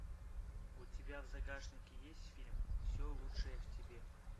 у тебя в загашнике есть фильм все лучшее в тебе